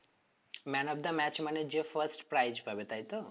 man of the match মানে যে first prize পাবে তাই তো